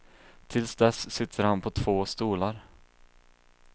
Tills dess sitter han på två stolar.